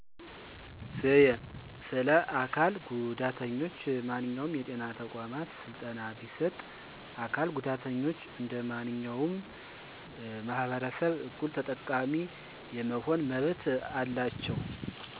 በአካባቢያቸው ያሉ የጤና ቦታውች ውስጥ ለአካል ጉዳተኞች ያላችው ተደራሽነት እንዳንድ አዳዲስ ሆስፒታሎች ለይ የተሻለ ተደረሽነት አለው ለምሳሌ ረምፓች፣ ልዪ ሽንት ቤት ራሱን የቻለ መወጣጨና መውረጃ አላቸው። መሻሻል ያለባቸው ነገሮች በአዲስ የሚሰሩ ህንፃዎች አካል ጉዳተኛችን ታሳቢነት ማድረግ አለበት፣ ለአካል ጉዳተኛ እና ለጤና በለ ሙያዎች ልዩ ስልጠና የሚሰጥበት ቢኖር፣ የአካል ጉዳተኞች መብት መጠበቅ አለበት።